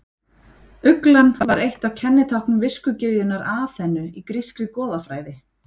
Uglan var eitt af kennitáknum viskugyðjunnar Aþenu í grískri goðafræði.